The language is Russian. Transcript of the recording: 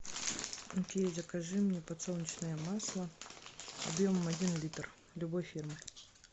окей закажи мне подсолнечное масло объемом один литр любой фирмы